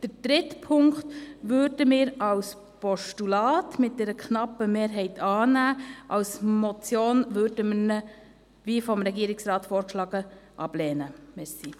Den dritten Punkt würden wir mit einer knappen Mehrheit als Postulat annehmen.